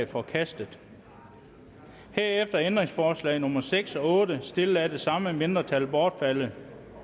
forkastet herefter er ændringsforslag nummer seks og otte stillet af det samme mindretal bortfaldet